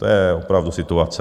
To je opravdu situace.